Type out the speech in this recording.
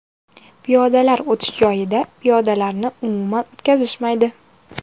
Piyodalar o‘tish joyida piyodalarni umuman o‘tkazishmaydi.